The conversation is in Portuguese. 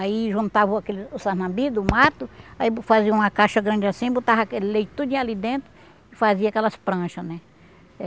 Aí juntava aquela o sarnambi do mato, aí fazia uma caixa grande assim, botava aquele leite tudinho ali dentro e fazia aquelas prancha, né?